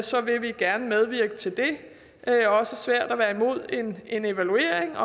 så vil vi gerne medvirke til det det er også svært at være imod en evaluering